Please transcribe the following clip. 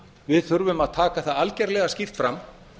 við þurfum að taka það algerlega skýrt fram